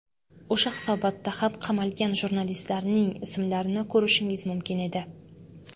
O‘sha hisobotda ham qamalgan jurnalistlarning ismlarini ko‘rishingiz mumkin edi.